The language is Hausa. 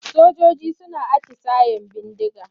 Sojoji suna atisayen bindiga.